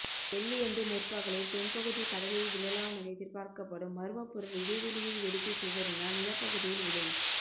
வெள்ளியன்று முற்பகலில் தென்பகுதி கடலில் விழலாமென எதிர்பார்க்கப்படும் மர்மப்பொருள் இடைவழியில் வெடித்து சிதறினால் நிலப் பகுதியில் விழும்